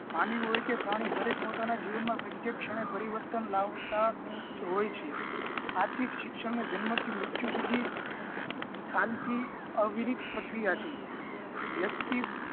માનવ હોય કે પ્રાણી દરેક પોતાના જીવન માં પ્રત્યેક ક્ષણે પરિવર્તન લાવતા હોય છે આથી જ શિક્ષણ ને જન્મ થી મૃતયુ સુધી શાંતિ અવિરીત પ્રક્રિયા છે વ્યક્તિ